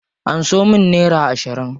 Anso min nera ashirin.